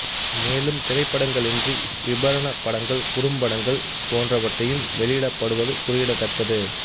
மேலும் திரைப்படங்களன்றி விபரணப் படங்கள் குறும்படங்கள் போன்றவையும் வெளியிடப்படுவது குறியிடத்தக்கது